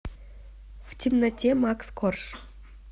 в темноте макс корж